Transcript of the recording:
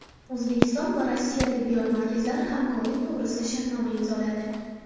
O‘zbekiston va Rossiya tibbiyot markazlari hamkorlik to‘g‘risida shartnoma imzoladi.